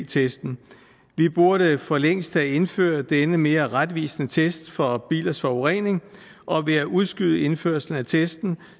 testen vi burde for længst have indført denne mere retvisende test for bilers forurening og ved at udskyde indførelsen af testen